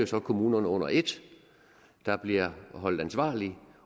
så kommunerne under et der bliver holdt ansvarlige